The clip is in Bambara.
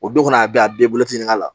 O don fana a bɛɛ a bɛ boloci ɲininka